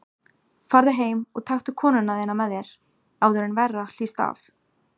Farðu heim og taktu konuna þína með þér, áður en verra hlýst af.